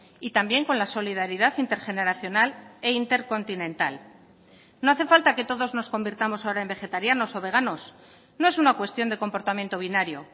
y también con la solidaridad intergeneracional e intercontinental no hace falta que todos nos convirtamos ahora en vegetarianos o veganos no es una cuestión de comportamiento binario